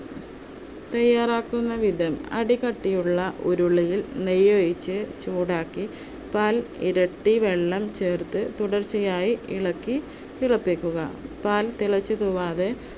തയ്യാറാക്കുന്ന വിധം, അടി കട്ടിയുള്ള ഉരുളിയിൽ നെയ്യൊഴിച്ച് ചൂടാക്കി പാൽ ഇരട്ടി വെള്ളം ചേർത്ത് തുടർച്ചയായി ഇളക്കി തിളപ്പിക്കുക. പാൽ തിളച്ചു തൂവാതെ